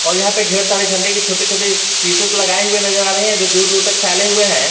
यहां पे ढेर सारे झंडे के छोटे छोटे पीसेस लगाए हुए नजर आ रहे हैं जो दूर दूर तक फैले हुए हैं।